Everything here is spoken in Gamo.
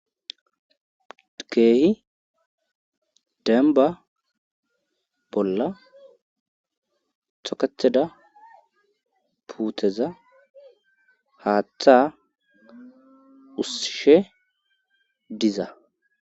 keehi demba bolla toketheda puuteza haaththa ussishe diza